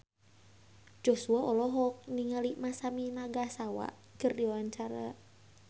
Joshua olohok ningali Masami Nagasawa keur diwawancara